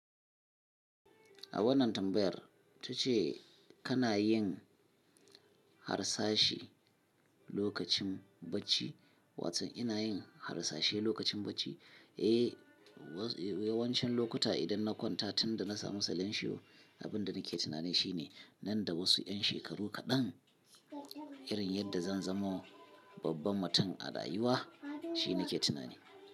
A wannan tambayar, tace kana yin harsashi lokacin bacci, wato ina yin harsashe lokacin bacci? Ehh eh, yawancin lokuta idan na kwanta tun da na samu salensho, abin da nake tunani shine nan da wasu 'yan shekaru kaɗan irin yadda zan zamo babban mutum a rayuwa shi nake tunani.